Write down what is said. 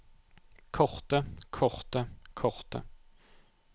korte korte korte